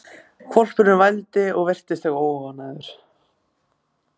Hvolpurinn vældi og virtist eitthvað óánægður.